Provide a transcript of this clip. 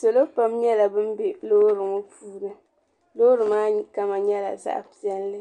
Salo pam nyɛla ban be loori ŋɔ puuni loori maa kama nyɛla zaɣ'piɛlli